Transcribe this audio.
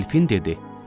Delfin dedi: